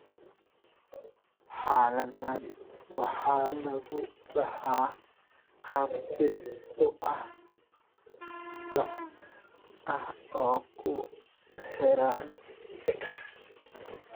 Xaaladdan waxaa lagu dhaxlaa qaab dib u dhac ah oo ku xiran X.